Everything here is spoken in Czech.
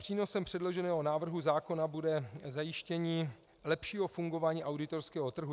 Přínosem předloženého návrhu zákona bude zajištění lepšího fungování auditorského trhu.